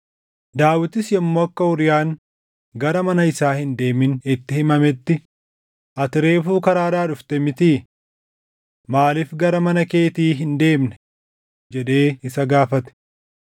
Daawitis yommuu akka Uuriyaan gara mana isaa hin deemin itti himametti, “Ati reefuu karaadhaa dhufte mitii? Maaliif gara mana keetii hin deemne?” jedhee isa gaafate.